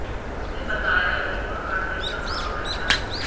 उसने बताया कि वह कढ़ाई का काम करता है